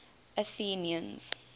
athenians